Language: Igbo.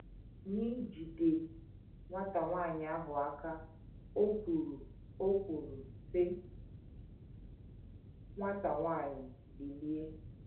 N’ijide nwata nwanyị ahụ aka, o kwuru o kwuru, sị: “ Nwata nwanyị, bilie. ”